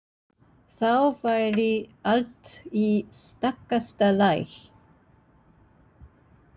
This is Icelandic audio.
Þá væri allt í stakasta lagi.